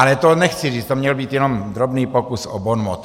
Ale to nechci říct, to měl být jenom drobný pokus o bonmot.